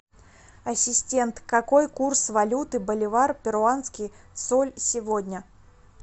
ассистент какой курс валюты боливар перуанский соль сегодня